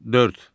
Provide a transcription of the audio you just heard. Dörd.